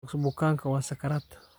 Sodokso bukanka wa sakarat .